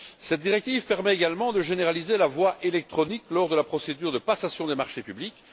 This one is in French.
Cette directive permet également de généraliser la voie électronique lors de la procédure de passation des marchés publics.